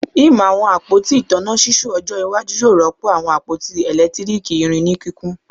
Im awọn apoti itanna ṣiṣu ojo iwaju yoo rọpo awọn apoti eletiriki irin ni kikun